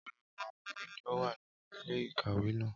Ọpọlọpọ awọn iwe ni o wa ninu ile-ikawe naa